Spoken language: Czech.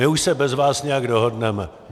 My už se bez vás nějak dohodneme.